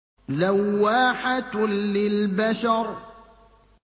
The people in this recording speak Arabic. لَوَّاحَةٌ لِّلْبَشَرِ